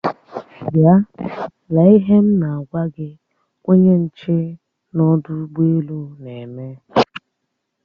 Bịa! lee ihe m na-agwa gi onye nche n'ọdụ ụgbọ elu na-eme!